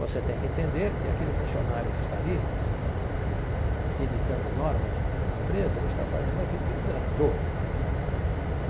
Você tem que entender que aquele funcionário que está ali te ditando normas da empresa, ele está fazendo aquilo que a empresa mandou.